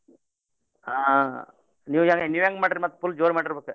ಹ್ಮ್ ನೀವ್ ಹೆಂ ನೀವ್ ಹೆಂಗ್ ಮಾಡಿರ್ ಮತ್ full ಜೋರ್ ಮಾಡಿರ್ಬೇಕ್.